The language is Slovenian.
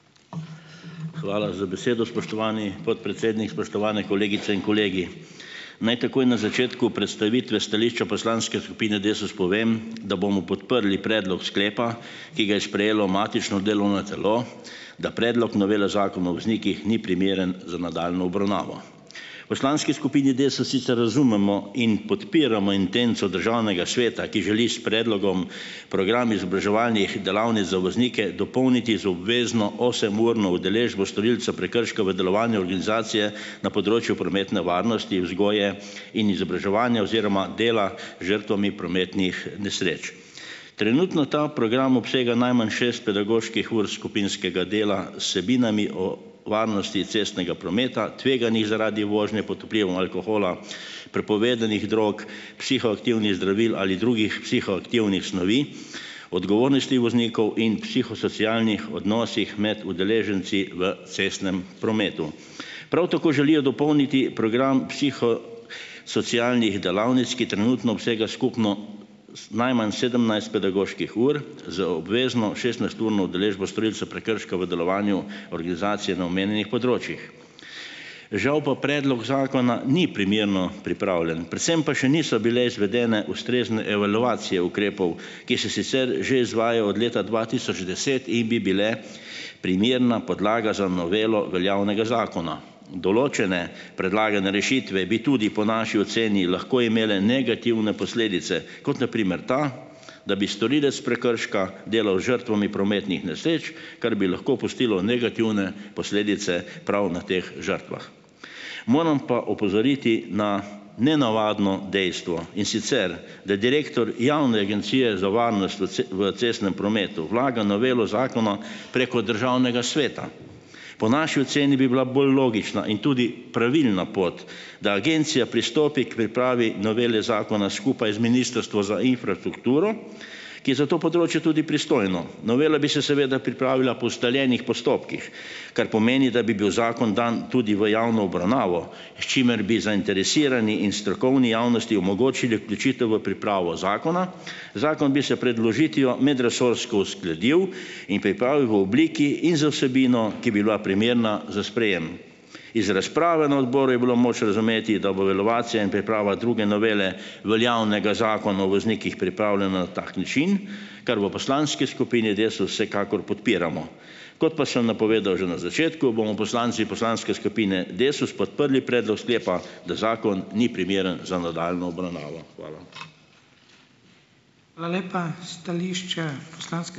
Hvala za besedo, spoštovani podpredsednik. Spoštovane kolegice in kolegi! Naj takoj na začetku predstavitve stališča poslanske skupine Desus povem, da bomo podprli predlog sklepa, ki ga je sprejelo matično delovno telo, da predlog novele Zakona o voznikih ni primeren za nadaljnjo obravnavo. V poslanski skupini Desus sicer razumemo in podpiramo intenco Državnega sveta, ki želi s predlogom program izobraževalnih delavnic za voznike dopolniti z obvezno osemurno udeležbo storilca prekrška v delovanju organizacije na področju prometne varnosti, vzgoje in izobraževanja oziroma dela žrtvami prometnih nesreč. Trenutno ta program obsega najmanj šest pedagoških ur skupinskega dela z vsebinami o varnosti cestnega prometa, tveganjih zaradi vožnje pod vplivom alkohola, prepovedanih drog, psihoaktivnih zdravil ali drugih psihoaktivnih snovi, odgovornosti voznikov in psihosocialnih odnosih med udeleženci v cestnem prometu. Prav tako želijo dopolniti program psiho socialnih delavnic, ki trenutno obsega skupno najmanj sedemnajst pedagoških ur z obvezno šestnajsturno udeležbo storilca prekrška v delovanju organizacije na omenjenih področjih. Žal pa predlog zakona ni primerno pripravljen, predvsem pa še niso bile izvedene ustrezne evalvacije ukrepov, ki se sicer že izvajajo od leta dva tisoč deset in bi bile primerna podlaga za novelo veljavnega zakona. Določene predlagane rešitve bi tudi po naši oceni lahko imele negativne posledice, kot na primer ta, da bi storilec prekrška delal z žrtvami prometnih nesreč, kar bi lahko pustilo negativne posledice prav na teh žrtvah. Moram pa opozoriti na nenavadno dejstvo, in sicer, da direktor Javne agencije za varnost v vc v cestnem prometu vlaga novelo zakona preko Državnega sveta. Po naši oceni bi bila bolj logična in tudi pravilna pot, da agencija pristopi k pripravi novele zakona skupaj z Ministrstvom za infrastrukturo, ki je za to področje tudi pristojno. Novela bi se seveda pripravila po ustaljenih postopkih, kar pomeni, da bi bil zakon dan tudi v javno obravnavo, s čimer bi zainteresirani in strokovni javnosti omogočili vključitev v pripravo zakona, zakon bi se pred vložitvijo medresorsko uskladil in pripravil v obliki in z vsebino, ki bi bila primerna za sprejem. Iz razprave na odboru je bilo moč razumeti, da bo delovacija in priprava druge novele veljavnega Zakona o voznikih pripravljena na tak način, kar v poslanski skupini Desus vsekakor podpiramo. Kot pa sem napovedal že na začetku, bomo poslanci poslanske skupine Desus podprli predlog sklepa, da zakon ni primeren za nadaljnjo obravnavo. Hvala.